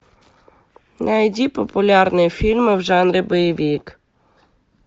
найди популярные фильмы в жанре боевик